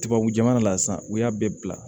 Tubabu jamana la sisan u y'a bɛɛ bila